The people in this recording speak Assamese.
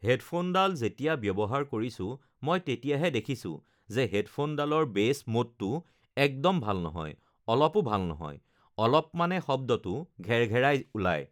হেডফোনডাল যেতিয়া ব্য়ৱহাৰ কৰিছোঁ মই তেতিয়াহে দেখিছোঁ যে হেডফোনডালৰ বেচ মোডটো একদম ভাল নহয় অলপো ভাল নহয় অলপমানে শব্দটো ঘেৰঘেৰাই ওলায়